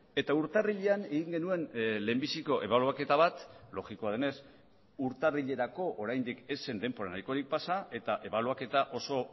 eta urtarrilean egin genuen lehenbiziko ebaluaketa bat logikoa denez urtarrilerako oraindik ez zen denbora nahikorik pasa eta ebaluaketa oso